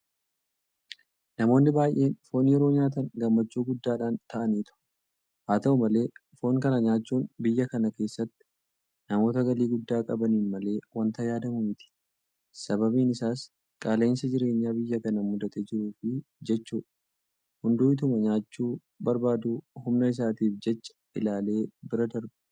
Namoonni baay'een Foon yeroo nyaatan gammachuu guddaadhaan ta'aniitu. Haata'u malee Foon kana nyaachuun biyya kana keessatti namoota galii guddaa qabaniin malee waanta yaadamu miti. Sababiin isaas qaala'insa jireenyaa biyya kana mudatee jiruuf jechuudha. Hunduu ituma nyaachuu barbaaduu humna isaatiif jecha ilaalee bira darba.